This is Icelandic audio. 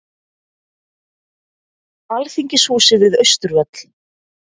Alþingishúsið við Austurvöll.